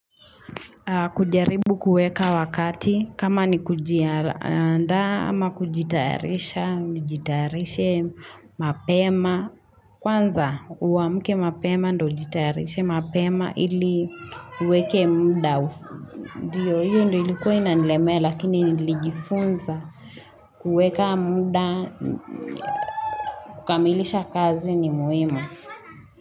Kujaribu kuweka wakati kama ni kujiaandaa ama kujitayarisha, nijitayarishe mapema. Kwanza uwamke mapema ndo jitayarishe mapema ili uweke muda. Ndiyo hiyo ndo ilikuwa inanilemea lakini nilijifunza kuweka muda, kukamilisha kazi ni muhimu.